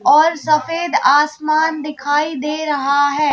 और सफेद आसमान दिखाई दे रहा है।